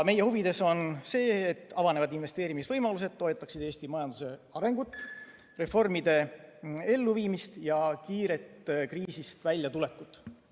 Meie huvides on see, et avanevad investeerimisvõimalused toetaksid Eesti majanduse arengut, reformide elluviimist ja kiiret kriisist väljatulekut.